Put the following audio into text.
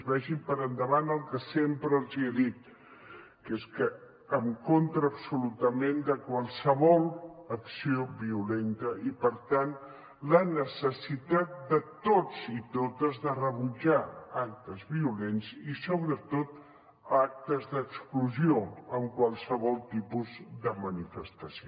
vagi per endavant el que sempre els he dit que és que estem en contra absolutament de qualsevol acció violenta i per tant la necessitat de tots i totes de rebutjar actes violents i sobretot actes d’exclusió en qualsevol tipus de manifestació